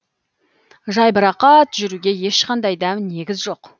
жайбырақат жүруге ешқандай да негіз жоқ